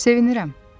Sevinirəm.